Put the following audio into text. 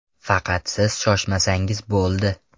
Faqat siz shoshmasangiz bo‘ldi.